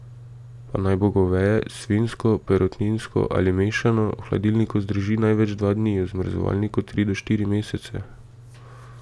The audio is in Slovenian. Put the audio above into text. Pa naj bo goveje, svinjsko, perutninsko ali mešano, v hladilniku zdrži največ dva dni, v zamrzovalniku tri do štiri mesece.